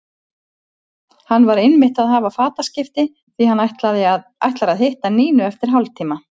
Hann var einmitt að hafa fataskipti því að hann ætlar að hitta Nínu eftir hálftíma.